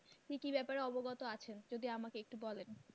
কি কি ব্যাপারে অবগত আছেন যদি আমাকে একটু বলেন।